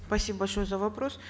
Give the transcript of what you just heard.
спасибо большое за вопрос